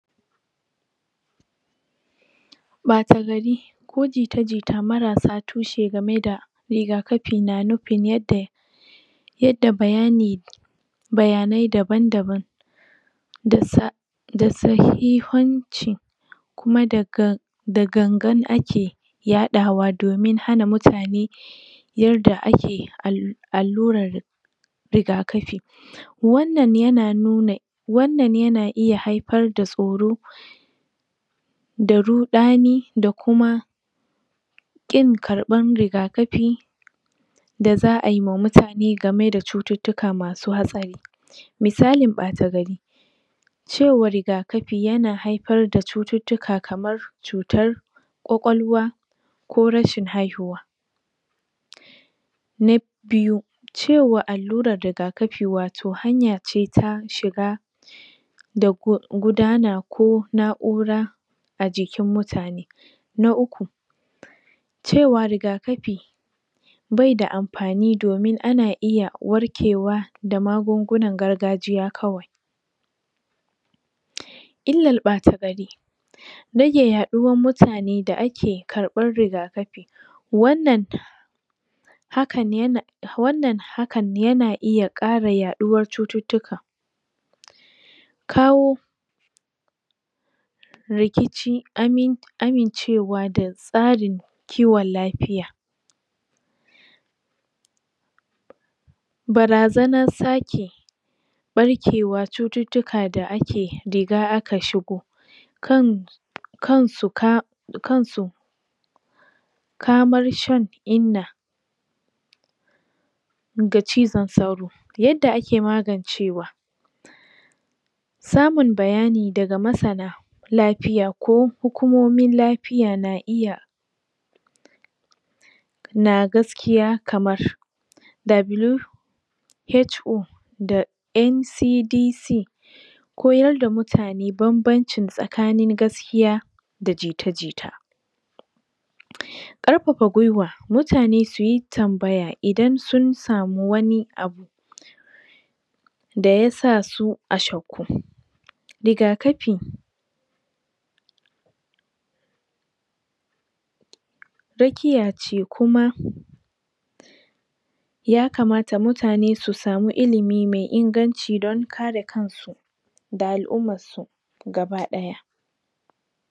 Ɓata gari ko jita jita marasa tushe gameda riga kafi na nufin yadda yadda bayani bayanai daban daban da sa da sahihanci ma daga dagan gan ake ya ɗawa domi hana mutane yarda ake allu allurar ri riga kafi wannan yana nuna wannan yana iya haifar da tsoro daruɗani da kuma ƙin karɓan riga kafi daza aima mutane gameda cucuctuka masu hatsari misalin ɓata gari cewar riga kafi yana haifar far da cucuctuka kamar cutar kwakwal wa ko rashin haihuwa na biyu cewa allurar riga kafi wato hanyace ta shiga da gudana ko na ura ajikin mutane na uku cewa riga kafi beda amfani domin ana iya warkewa da magungunan gargajiya kawai illal ɓata gari rage yaɗuwan mutane da ake ke ƙarɓar rigakafi wannan hakan yana wannan hakan yana iya ƙara yaɗuwan cucuctuka kawo rikici amin amin cewa da tsarin kiwon lafiya barazanan sake ɓarkewa cucuctu ka da ake riga aka shigo kan kan suka kansu kamar shan inna ga cizon sauro yadda ake magancewa samun bayani daga masana lafiya ko hukumomin lafiya na iya na gaskiya kamar w h o da ncdc koyarda mutane banban cin tsakanin gaskiya da jita jita ƙarfafa gwiwa mutane suyi tambaya idan sun samu wani abu da yasasu ashashku riga kafi rakiyace kuma yakamata mutane su samu ilimi me ingan ci don kare kan da al'ummansu gaba ɗaya